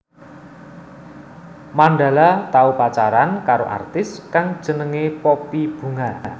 Mandala tau pacaran karo artis kang jenengé Poppy Bunga